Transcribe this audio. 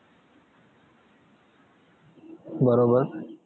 बरोबर